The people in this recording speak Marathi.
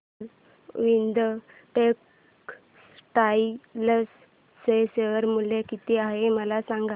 अरविंद टेक्स्टाइल चे शेअर मूल्य किती आहे मला सांगा